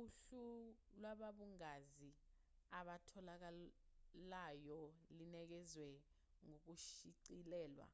uhlu lwababungazi abatholakalayolinikezwa ngokushicilelwa